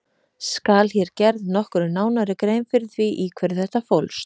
Skal hér gerð nokkru nánari grein fyrir því í hverju þetta fólst.